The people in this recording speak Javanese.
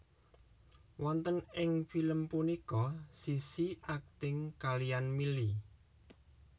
Wonten ing film punika Sissy akting kaliyan Milly